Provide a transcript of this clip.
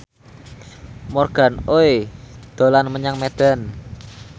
Morgan Oey dolan menyang Medan